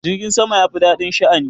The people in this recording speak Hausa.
Jirgin sama ya fi daɗin sha'ani.